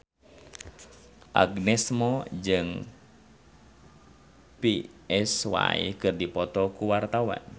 Agnes Mo jeung Psy keur dipoto ku wartawan